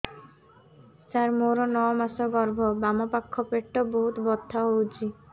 ସାର ମୋର ନଅ ମାସ ଗର୍ଭ ବାମପାଖ ପେଟ ବହୁତ ବଥା ହଉଚି